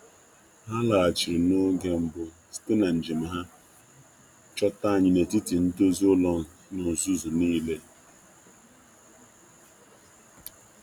Ha si na njem ha lọta n'oge, jide anyị n'etiti nrụzigharị ma ájá jupụtara.